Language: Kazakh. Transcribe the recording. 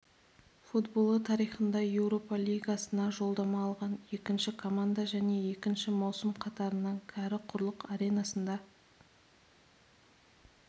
футболы тарихында еуропа лигасына жолдама алған екінші команда және екінші маусым қатарынан кәрі құрлық аренасында